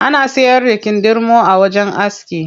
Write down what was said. Ana siyar da kindirmo a wajen aski.